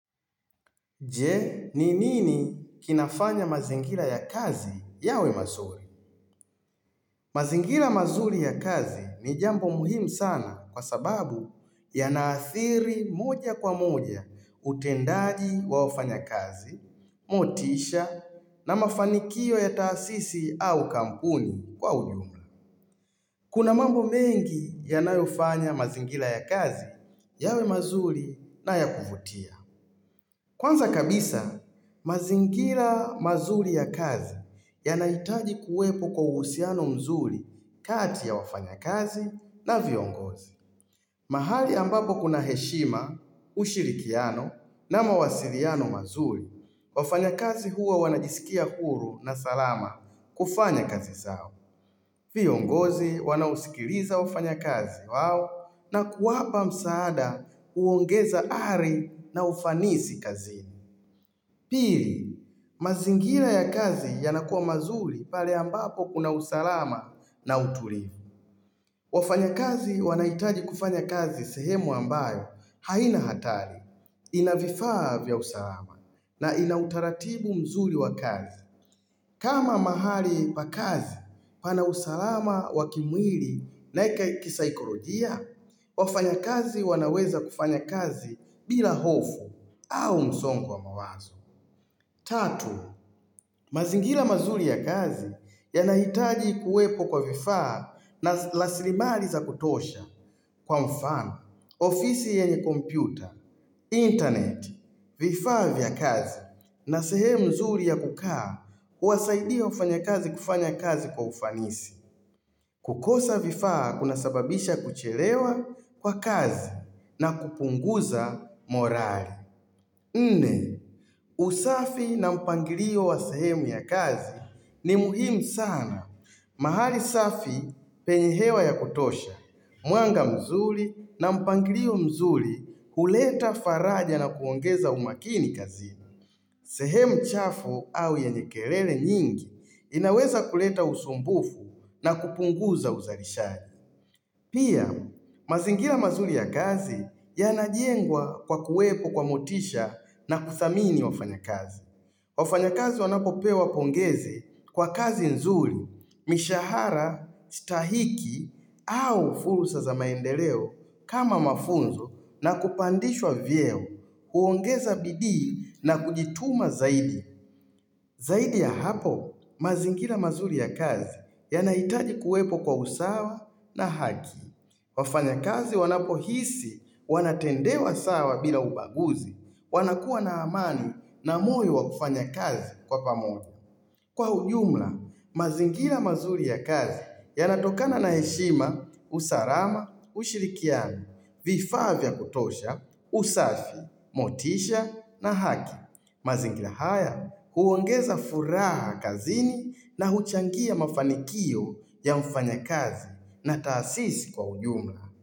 Je, ni nini kinafanya mazingira ya kazi yawe mazuri? Mazingira mazuri ya kazi ni jambo muhimu sana kwa sababu yanaathiri moja kwa moja utendaji wa wafanyakazi, motisha na mafanikio ya taasisi au kampuni kwa ujumla. Kuna mambo mengi yanayofanya mazingira ya kazi yawe mazuri na ya kuvutia. Kwanza kabisa, mazingira mazuri ya kazi yanahitaji kuwepo kwa uhusiano mzuri kati ya wafanyakazi na viongozi. Mahali ambapo kuna heshima, ushirikiano na mawasiliano mazuri, wafanyakazi huwa wanajisikia huru na salama kufanya kazi zao. Viongozi wanaosikiliza wafanya kazi wao na kuwapa msaada huongeza ari na ufanisi kazini. Pili, mazingira ya kazi yanakuwa mazuri pale ambapo kuna usalama na utulivu. Wafanyakazi wanahitaji kufanya kazi sehemu ambayo haina hatari. Ina vifaa vya usalama na ina utaratibu mzuri wa kazi. Kama mahali pa kazi pana usalama wa kimwili na kisaikolojia, wafanyakazi wanaweza kufanya kazi bila hofu au msongo wa mawazo. Tatu, mazingira mazuri ya kazi yanahitaji kuwepo kwa vifaa na rasilimali za kutosha kwa mfano, ofisi yenye kompyuta, internet, vifaa vya kazi na sehemu nzuri ya kukaa kuwasaidia wafanyakazi kufanya kazi kwa ufanisi. Kukosa vifaa kunasababisha kuchelewa kwa kazi na kupunguza morali. Nne, usafi na mpangilio wa sehemu ya kazi ni muhimu sana. Mahali safi penye hewa ya kutosha. Mwanga mzuri na mpangilio mzuri huleta faraja na kuongeza umakini kazini. Sehemu chafu au yenye kelele nyingi inaweza kuleta usumbufu na kupunguza uzalishaji. Pia, mazingira mazuri ya kazi yanajengwa kwa kuwepo kwa motisha na kuthamini wafanyakazi. Wafanyakazi wanapopewa pongezi kwa kazi nzuri, mishahara, stahiki au fursa za maendeleo kama mafunzo na kupandishwa vyeo, huongeza bidii na kujituma zaidi. Zaidi ya hapo, mazingira mazuri ya kazi yanahitaji kuwepo kwa usawa na haki. Wafanyakazi wanapohisi, wanatendewa sawa bila ubaguzi, wanakuwa na amani na moyo wa kufanya kazi kwa pamoja. Kwa ujumla, mazingira mazuri ya kazi yanatokana na heshima, usalama, ushirikiano, vifaa vya kutosha, usafi, motisha na haki. Mazingira haya huongeza furaha kazini na huchangia mafanikio ya mfanyakazi na taasisi kwa ujumla.